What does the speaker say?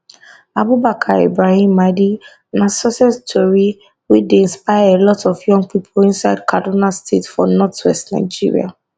abubakar ibrahim maidi na success tori wey dey inspire a lot of young pipo inside kaduna state for northwest nigeria